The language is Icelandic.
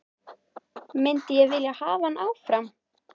Myndi ég vilja hafa hann áfram?